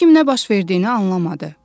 Heç kim nə baş verdiyini anlamadı.